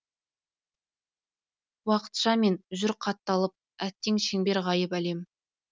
уақытшамен жүр қатталып әттең шеңбер ғайып әлем